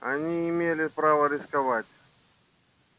они не имела права рисковать